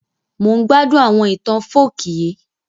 Mo n gbádún àwọn itan folk yii